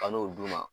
Ka n'o d'u ma